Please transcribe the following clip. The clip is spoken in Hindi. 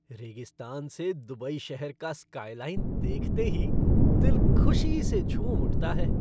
रेगिस्तान से दुबई शहर का स्कायलाइन देखते ही दिल ख़ुशी से झूम उठता है।